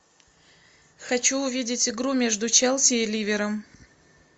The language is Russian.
хочу увидеть игру между челси и ливером